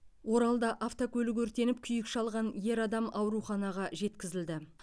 оралда автокөлік өртеніп күйік шалған ер адам ауруханаға жеткізілді